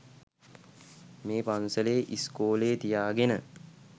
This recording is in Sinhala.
මේ පන්සලේ ඉස්කෝලෙ තියාගෙන